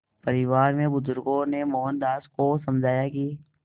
परिवार के बुज़ुर्गों ने मोहनदास को समझाया कि